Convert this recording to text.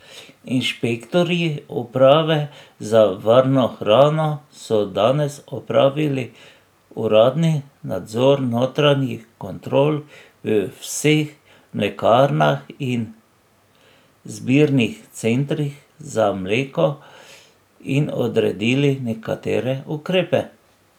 Inšpektorji uprave za varno hrano so danes opravili uradni nadzor notranjih kontrol v vseh mlekarnah in zbirnih centrih za mleko in odredili nekatere ukrepe.